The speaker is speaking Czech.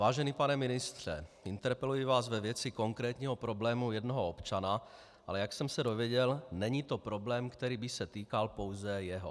Vážený pane ministře, interpeluji vás ve věci konkrétního problému jednoho občana, ale jak jsem se dozvěděl, není to problém, který by se týkal pouze jeho.